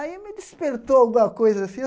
Aí me despertou alguma coisa assim.